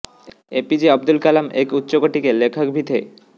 APJ Abdul Kalam एक उच्चकोटी के लेखक भी थे